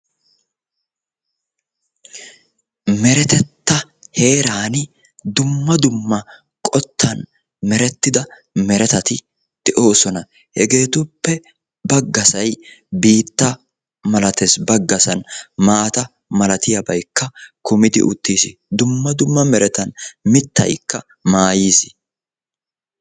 Meretetta Heeran dumma dumma qottan merettida meretatti de'oosona hetetuppe baggassay biitta malatees baggassan maata milatiyaabaykka kummidi uttiis; dumma dumma merete mittaykka maayyiis.